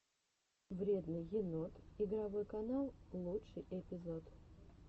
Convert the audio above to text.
вредный енот игровой канал лучший эпизод